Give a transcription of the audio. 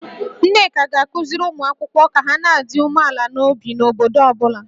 Nneka ga-akụziri ụmụ akwụkwọ ka ha na-adị umeala n'obi n'ọnọdụ ọ bụla